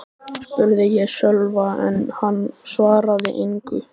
spurði ég Sölva en hann svaraði engu.